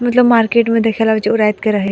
मतलब मार्केट में देखेला जो रात के रहे --